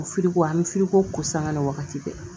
O firiko an mi firiko ko sanga ni wagati bɛɛ